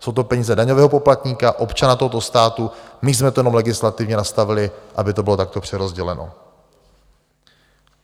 Jsou to peníze daňového poplatníka, občana tohoto státu, my jsme to jenom legislativně nastavili, aby to bylo takto přerozděleno.